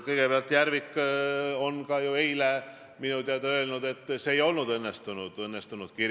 Kehakeelega te hinnangu andsite, aga öelge nüüd siis ka välja, mis nägusid te tegite ja mis poose seal võtsite, kui peaminister rääkis.